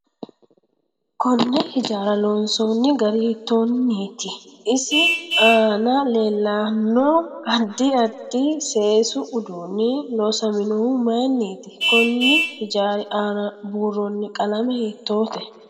Konne hijaara loonsooni gari hiitooniiti isi aana leelanmo addi addi seesu uduuni loosaminohu mayiiniiti konni hijaari aana buurooni qalame hiitoote